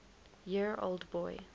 year old boy